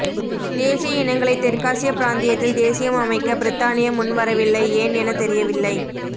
தேசிய இனங்களை தெற்காசிய பிராந்தியத்தில் தேசியம் அமைக்க பிரித்தானிய முன் வரவில்லை ஏன் என தெரியவில்லை